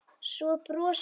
Svo brosir hún.